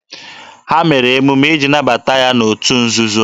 Ha mere emume iji nabata ya n'otu nzuzo.